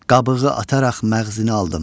qabığı ataraq məğzini aldım.